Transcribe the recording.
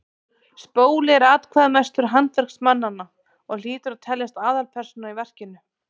spóli er atkvæðamestur handverksmannanna og hlýtur að teljast aðalpersóna í verkinu